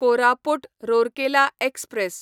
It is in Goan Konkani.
कोरापूट रोरकेला एक्सप्रॅस